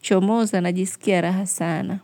chomoza na jisikia raha sana.